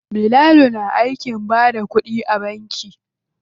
Bilal na aikin bada kuɗi a banki.